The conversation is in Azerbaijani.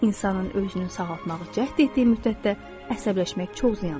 insanın özünü sağaltmağa cəhd etdiyi müddətdə əsəbləşmək çox ziyandır.